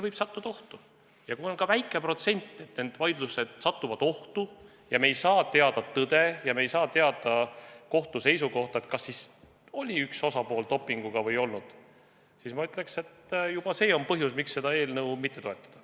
Ja kui on väikegi protsent, et need vaidlused satuvad ohtu, nii et me ei saa teada tõde ja me ei saa teada kohtu seisukohta, kas kasutas üks osapool dopingut või ei kasutanud, siis minu arvates juba see on põhjus, miks seda eelnõu mitte toetada.